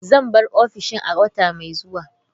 Zan bar ofishin a wata mai zuwa.